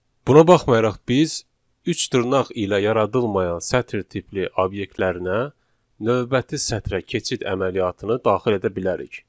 Buna baxmayaraq biz üç dırnaq ilə yaradılmayan sətir tipli obyektlərinə növbəti sətrə keçid əməliyyatını daxil edə bilərik.